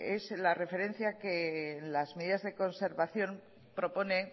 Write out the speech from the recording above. es la referencia que en las medidas de conservación propone